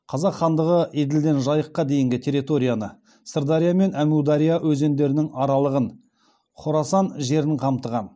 қазақ хандығы еділден жайыққа дейінгі территорияны сырдария мен әмудария өзендерінің аралығын хорасан жерін қамтыған